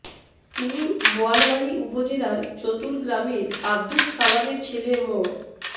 তিনি বোয়ালমারী উপজেলার চতুল গ্রামের আব্দুস সালামের ছেলে মো